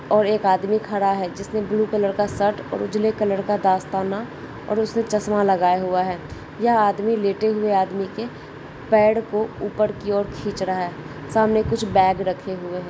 और एक आदमी खड़ा है जिसने ब्लू कलर का शर्ट और उजले कलर का दस्ताना और उसने चसमा लगाया हुआ है यह आदमी लेटे हुए आदमी की पैर को ऊपर की और खीच रहा है सामने कुछ बैग रखे हुए है।